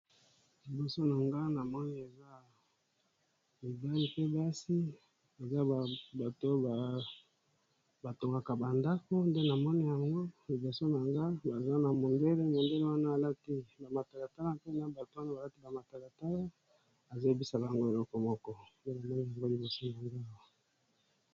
Liboso na nga namoni eza mibali pe basi, baza bato batongaka bandako nde na mone yango liboso na nga, baza na mondele mondele wana balati bamatalatale mpe na bato wana balati bamatalatala, ezoyebisaka yango elokoboko pelomoi aza liboso a nga.